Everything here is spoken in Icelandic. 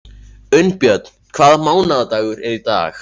Unnbjörn, hvaða mánaðardagur er í dag?